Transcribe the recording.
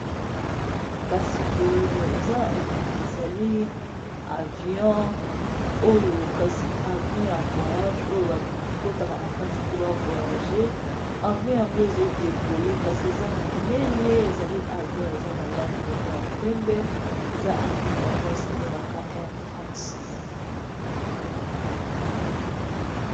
Kasa boye ézali avion Oyo Kasi avion Oyo basalaka Nango ba voiyage Eza ya penbe Oyo basalaka Nango ba voiyage Ezra air France